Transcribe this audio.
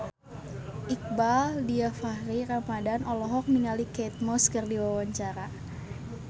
Iqbaal Dhiafakhri Ramadhan olohok ningali Kate Moss keur diwawancara